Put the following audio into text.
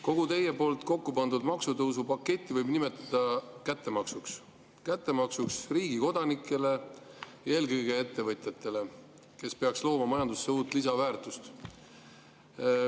Kogu teie kokku pandud maksutõusupaketti võib nimetada kättemaksuks, kättemaksuks riigi kodanikele, eelkõige ettevõtjatele, kes peaks looma majandusse lisaväärtust.